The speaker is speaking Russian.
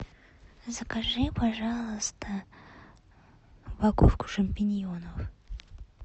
закажи пожалуйста упаковку шампиньонов